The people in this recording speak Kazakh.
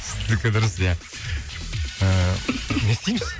сіздікі дұрыс ия ыыы не істейміз